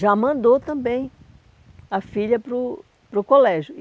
Já mandou também a filha para o para o colégio.